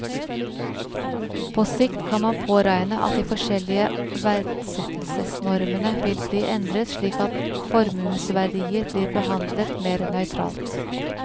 På sikt kan man påregne at de forskjellige verdsettelsesnormene vil bli endret slik at formuesverdier blir behandlet mer nøytralt.